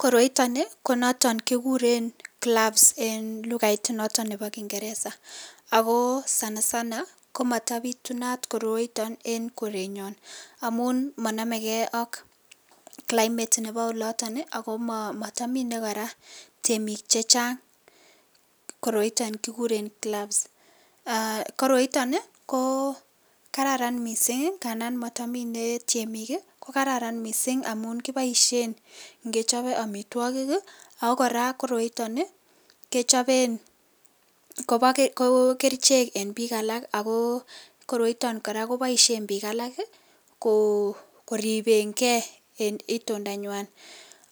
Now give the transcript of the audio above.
Koroito ni ko noton kikuren cloves en lugait ab kingeresa ako Sana sanakomabitunat koroiton en kerenyon amun manamegei AK climate Nebo olotin akomatamine koraa temik chechang koroiton kikuren cloves koroiton ko kararan mising tandan matamine temik kokararan mising amun kibaishen en ngechobe amitwokik ako koraa koroiton kechopen akoba kerchek en bik alak ako koroiton koraa Koba ishen bik alak koriben gei en itunda nywan